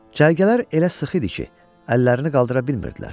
Cərgələr elə sıx idi ki, əllərini qaldıra bilmirdilər.